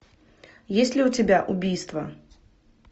есть ли у тебя убийство